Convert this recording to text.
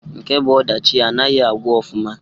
Nke bu ọdachi anaghi agwụ ọfụma.